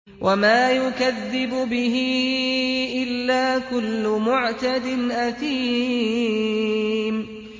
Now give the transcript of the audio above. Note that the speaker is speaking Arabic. وَمَا يُكَذِّبُ بِهِ إِلَّا كُلُّ مُعْتَدٍ أَثِيمٍ